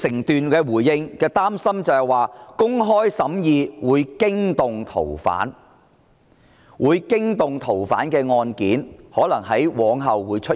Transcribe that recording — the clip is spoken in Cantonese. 局長回應時表示，擔心公開審議會驚動逃犯；會驚動逃犯的案件可能往後會出現。